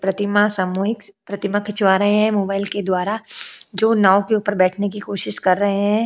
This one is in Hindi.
प्रतिमा सामूहिक प्रतिमा खिंचवा रहे हैं मोबाइल के द्वारा जो नाव के ऊपर बैठने की कोशिश कर रहे हैं।